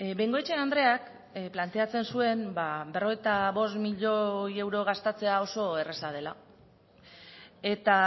bengoechea andreak planteatzen zuen berrogeita bost milioi euro gastatzea oso erraza dela eta